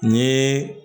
N ye